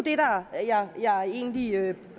egentlig det